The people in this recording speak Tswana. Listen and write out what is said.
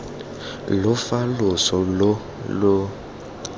lo fa loso loo lo